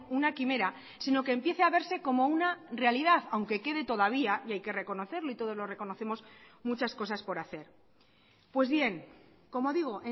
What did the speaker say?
una quimera sino que empiece a verse como una realidad aunque quede todavía y hay que reconocerlo y todos lo reconocemos muchas cosas por hacer pues bien como digo